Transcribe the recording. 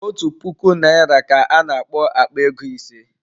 Otu puku naira ka ana akpo Akpa ego ise